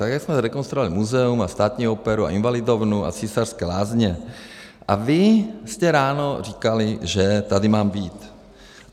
Tak, jak jsme rekonstruovali muzeum a Státní operu a Invalidovnu a Císařské lázně, a vy jste ráno říkali, že tady mám být.